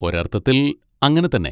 ഒരർത്ഥത്തിൽ അങ്ങനെത്തന്നെ.